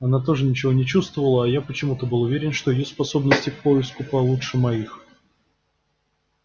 она тоже ничего не чувствовала а я почему-то был уверен что её способности к поиску получше моих